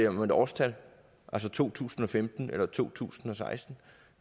om et årstal altså to tusind og femten eller to tusind og seksten